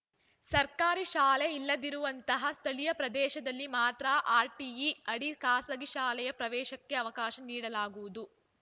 ಸರ್ಕಾರಿ ಶಾಲೆ ಇಲ್ಲದಿರುವಂತಹ ಸ್ಥಳೀಯ ಪ್ರದೇಶದಲ್ಲಿ ಮಾತ್ರ ಆರ್‌ಟಿಇ ಅಡಿ ಖಾಸಗಿ ಶಾಲೆಯ ಪ್ರವೇಶಕ್ಕೆ ಅವಕಾಶ ನೀಡಲಾಗುವುದು